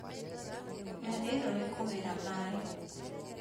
Ndathiĩ rũĩ kũgĩra maĩ